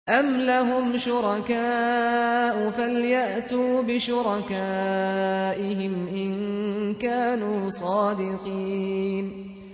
أَمْ لَهُمْ شُرَكَاءُ فَلْيَأْتُوا بِشُرَكَائِهِمْ إِن كَانُوا صَادِقِينَ